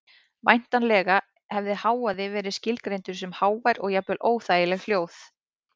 Væntanlega hefði hávaði verið skilgreindur sem hávær og jafnvel óþægileg hljóð.